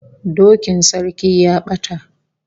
Dokin sarki ya bata